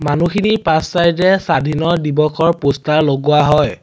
মানুহখিনিৰ পাছ চাইড এ স্বাধীনৰ দিৱসৰ প'ষ্টাৰ লগোৱা হয়।